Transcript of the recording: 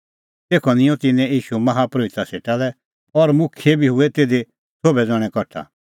तेखअ निंयं तिन्नैं ईशू माहा परोहिता सेटा लै और होर प्रधान परोहित शास्त्री और मुखियै बी हूऐ तिधी सोभै ज़ण्हैं कठा